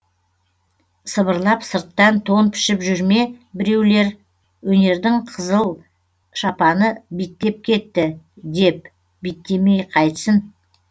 сыбырлап сырттан тон пішіп жүр ме бірулер өнердің қызыл шапаны биттеп кетті деп биттемей қайтсін